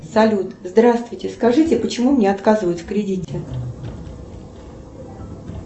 салют здравствуйте скажите почему мне отказывают в кредите